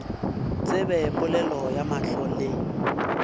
tsebe polelo ya mahlo le